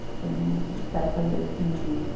Porque eu não quero saber desse menino.